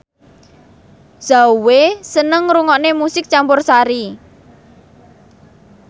Zhao Wei seneng ngrungokne musik campursari